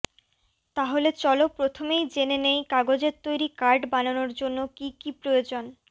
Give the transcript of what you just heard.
তাহলে চলো প্রথমেই জেনে নেই কাগজের তৈরি কার্ড বানানোর জন্য কি কি প্রয়োজন